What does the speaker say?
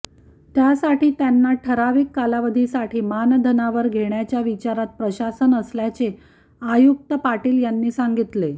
त्यासाठी त्यांना ठराविक कालावधीसाठी मानधनावर घेण्याच्या विचारात प्रशासन असल्याचे आयुक्त पाटील यांनी सांगितले